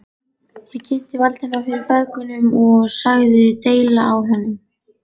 Ég kynnti Valdimar fyrir feðgunum og sagði deili á honum.